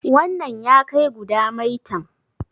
wannan ya kai guda maitan?